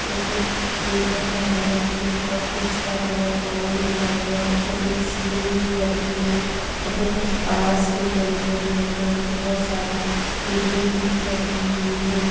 तो कुछ ईंटों का कलर पिंक और कुछ का कलर ऑरेंज दिखाई दे रहे यहाँ पे एक सीढ़ी भी रखी हुई यहाँ पे कुछ बांस के डंडे भी रखे हुए है यहाँ पे बहुत सारी ईंटें भी पड़ी हुई है।